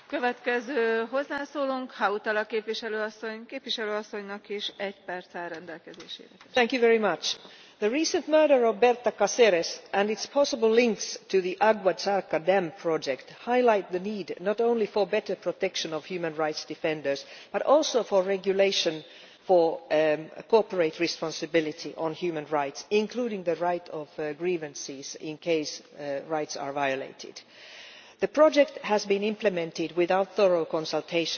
Madam President, the recent murder of Berta Cáceres, and its possible links to the Agua Zarca Dam project, highlight the need not only for better protection of human rights defenders but also for regulation for corporate responsibility for human rights, including the right of grievances when rights are violated. The project has been implemented without thorough consultation with the area's indigenous Lenca population.